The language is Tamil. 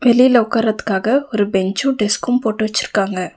வெளியில உக்காருறதுக்காக ஒரு பெஞ்சும் டெஸ்க்கும் போட்டு வச்சிருக்காங்க.